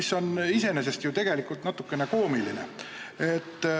See on iseenesest ju natukene koomiline.